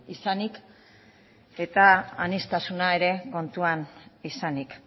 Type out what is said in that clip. izanik eta aniztasuna ere kontuan izanik